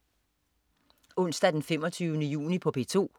Onsdag den 25. juni - P2: